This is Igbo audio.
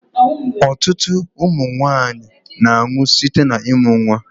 Ọtụtụ ụmụnwanyi na-anwu site na-ịmụ nnwa.